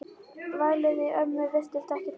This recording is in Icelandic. Vælið í ömmu virtist ekki trufla hann.